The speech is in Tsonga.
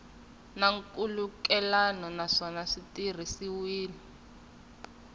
na nkhulukelano naswona swi tirhisiwile